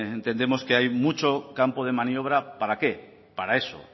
entendemos que hay mucho campo de maniobra para qué para eso